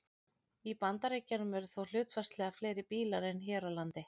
Í Bandaríkjunum eru þó hlutfallslega fleiri bílar en hér á landi.